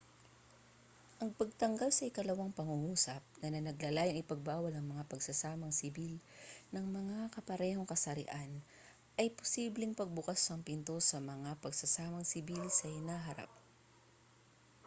ang pagtanggal sa ikalawang pangungusap na naglalayong ipagbawal ang mga pagsasamang sibil ng magkaparehong kasarian ay posibleng magbukas ng pinto sa mga pagsasamang sibil sa hinaharap